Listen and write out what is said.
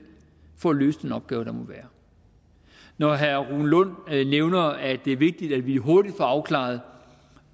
for at løse den opgave der må være når herre rune lund nævner at det er vigtigt at vi hurtigt får afklaret